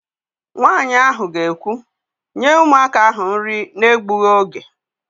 Nwaanyị ahụ ga-ekwu, "nye ụmụaka ahụ nri na-egbughị oge"!